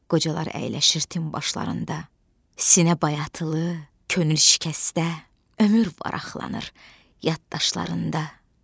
Qocalar əyləşir tin başlarında, sinə bayatılı, könül şikəstə, ömür varaqlanır yaddaşlarında.